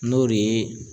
N'o de ye